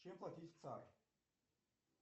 чем платить в цар